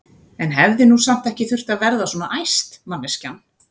En hún hefði nú samt ekki þurft að verða svona æst, manneskjan!